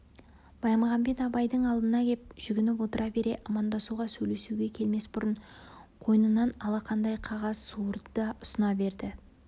баймағамбет абайдың алдына кеп жүгініп отыра бере амандасуға сөйлесуге келмес бұрын қойнынан алақандай қағаз суырды да ұсына берді